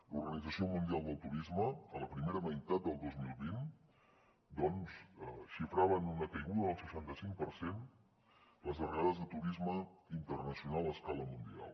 l’organització mundial del turisme en la primera meitat del dos mil vint xifrava en una caiguda del seixanta cinc per cent les arribades de turisme internacional a escala mundial